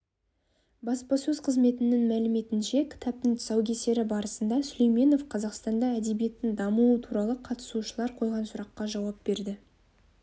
баспасөз қызметінің мәліметінше кітаптың тұсаукесері барысында сүлейменов қазақстанда әдебиеттің дамуы туралы қатысушылар қойған сұрақтарға жауап берді